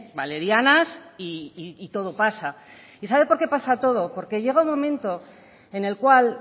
valerianas y todo pasa y sabe por qué pasa todo porque llega un momento en el cual